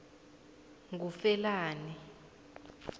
ngufelani